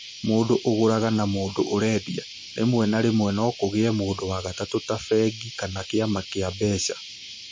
mũndũ ũgũraga na mũndũ ũendia. Rĩmwe na rĩmwe, no kũgĩe mũndũ wa gatatũ, ta bengi kana kĩama gĩa mbeca.